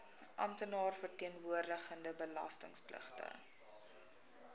amptenaar verteenwoordigende belastingpligtige